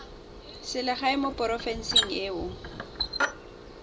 selegae mo porofenseng e o